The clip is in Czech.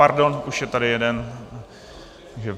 Pardon, už je tady jeden.